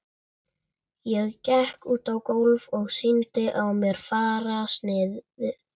Ég gekk út á gólfið og sýndi á mér fararsnið.